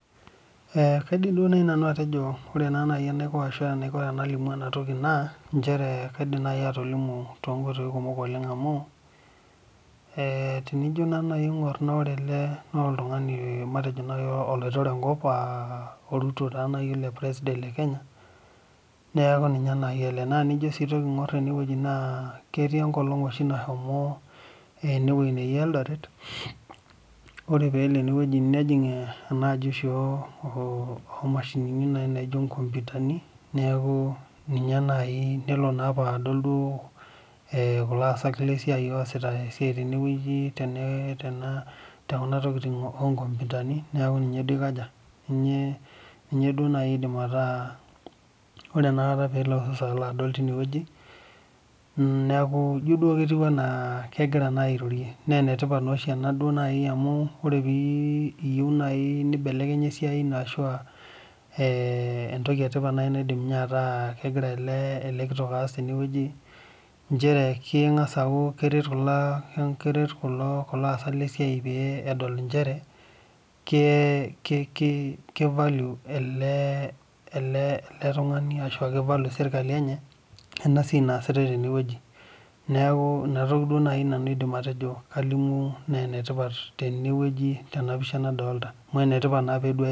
Kaidim naaji nanu enaiko pee alimu ena mbae naa kaidim naaji atolimu too nkoitoi kumok oleng amu tenijo najii aing'or ele tung'ani naa oloitore enkop aa Ruto taa naaji ele president lee Kenya neeku ninye naaji ele naa tenijo najii aing'or enewueji ketii oshi enkolog nashomo enewueji nejii eldoret ore pelo nejig ena ajii oo mashinini naijio nkompitani neeku ninye naaji ninepu kulo asak lee siai osita esiai tenewueji tekuna tokitin oo nkompitani neeku ninye duo aidim ataa ore pelo Ruto adol teine wueji neeku ejio kegira airorie naa enetipat naa oshi ena amu ore pee eyieu nibelekenye esiai eno naa entoki etipat naidim ataa kegira ele kitok as tenewueji njere keng'as aret kulo asak lee siai pee edol njere kivalue ele tung'ani ashu kivalue sirkali enye ena siai nasitai tenewueji neeku ena toki naaji nanu aidim ataa kalimu naa enetipat Tena pisha nadolita